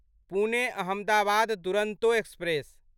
Pune Ahmedabad Duronto express